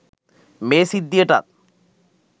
මේ සිද්ධියටත්.